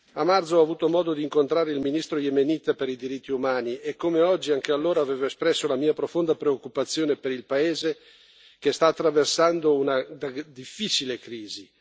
A marzo ho avuto modo di incontrare il ministro yemenita per i diritti umani e come oggi anche allora avevo espresso la mia profonda preoccupazione per il paese che sta attraversando una difficile crisi.